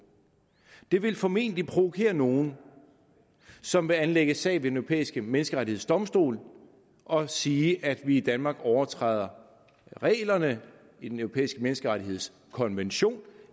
det vil formentlig provokere nogle som vil anlægge sag ved den europæiske menneskerettighedsdomstol og sige at vi i danmark overtræder reglerne i den europæiske menneskerettighedskonvention